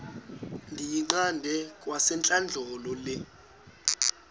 ndiyiqande kwasentlandlolo le